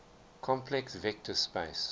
complex vector space